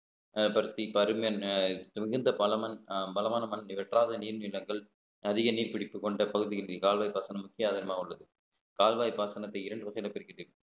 மிகுந்த பலமன்~ பலமான மனம் வற்றாத நீர் நிலங்கள் அதிக நீர் பிடிப்பு கொண்ட பகுதி இன்றி கால்வாய் பாசனம் முக்கிய ஆதாரமாக உள்ளது கால்வாய் பாசனத்தை இரண்டு வகைகளாக பிரிக்கட்டு